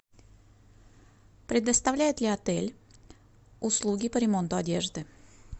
предоставляет ли отель услуги по ремонту одежды